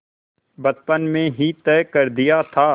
बचपन में ही तय कर दिया था